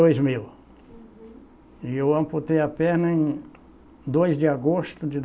mil. E eu amputei a perna em dois de agosto de